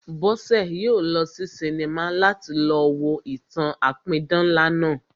Bọ́sẹ̀ yóò lọ sí sinimá láti lọ wo ìtàn-an apidán ńlá náà